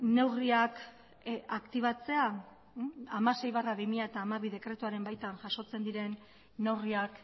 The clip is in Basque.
neurriak aktibatzea hamasei barra bi mila hamabi dekretuaren baitan jasotzen diren neurriak